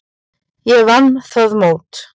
Ég vann það mót.